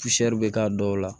bɛ k'a dɔw la